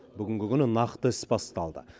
бүгінгі күні нақты іс басталды